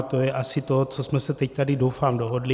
A to je asi to, co jsme se tady teď doufám dohodli.